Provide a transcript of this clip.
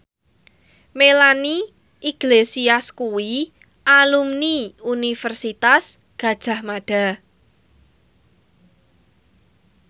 Melanie Iglesias kuwi alumni Universitas Gadjah Mada